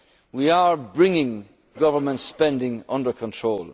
levels. We are bringing government spending under